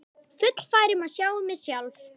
Fullfær um að sjá um mig sjálf.